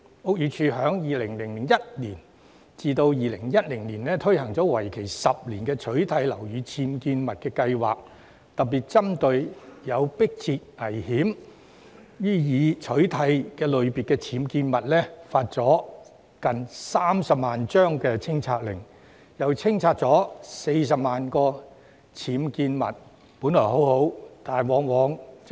屋宇署在2001年至2010年推行為期10年的取締樓宇僭建物計劃，特別針對有迫切危險"須予以取締"類別的僭建物，其間發出了接近30萬張清拆令，並清拆了40萬個僭建物，成效良好。